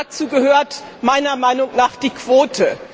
Dazu gehört meiner Meinung nach die Quote.